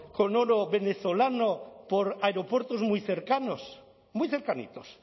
con oro venezolano por aeropuertos muy cercanos muy cercanitos